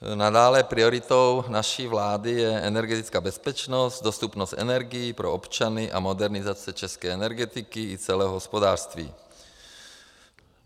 Nadále prioritou naší vlády je energetická bezpečnost, dostupnost energií pro občany a modernizace české energetiky i celého hospodářství.